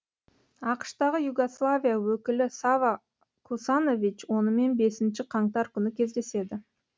ақш тағы югославия өкілі сава косанович онымен бесінші қаңтар күні кездеседі